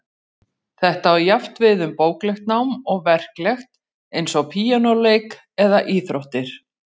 Þetta á jafnt við um bóklegt nám og verklegt, eins og píanóleik eða íþróttir.